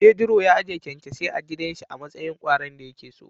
Pedro ya ajiye kyankyasai a gidanshi amatsayin kwaron dayakeso.